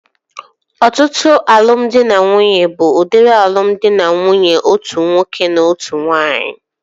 Ọtụtụ alụmdi na nwunye bụ udiri alụmdi na nwunye otu nwoke na otu nwaanyị